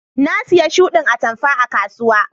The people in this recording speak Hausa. Na siya shuɗin atamfa a kasuwa.